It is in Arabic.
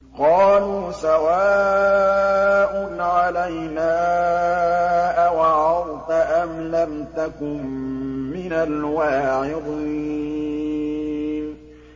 قَالُوا سَوَاءٌ عَلَيْنَا أَوَعَظْتَ أَمْ لَمْ تَكُن مِّنَ الْوَاعِظِينَ